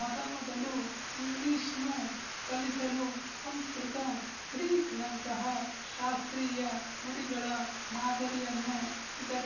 ಮೊದಮೊದಲು ಇಂಗ್ಲಿಶ್‌ನ್ನು ಕಲಿಸಲು ಸಂಸ್ಕೃತ ಗ್ರೀಕ್‍ನಂತಹ ಶಾಸ್ತ್ರೀಯ ನುಡಿಗಳ ಮಾದರಿಯನ್ನು ಇದರ